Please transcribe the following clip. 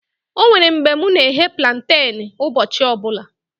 Onwere mgbe mụ na eghe planten ụbọchị ọbụla